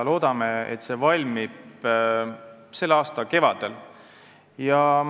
Loodame, et see valmib selle aasta kevadel.